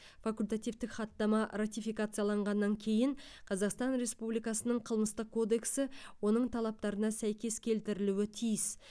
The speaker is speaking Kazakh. факультативтік хаттама ратификацияланғаннан кейін қазақстан республикасының қылмыстық кодексі оның талаптарына сәйкес келтірілуі тиіс